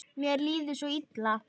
Mér líður svo illa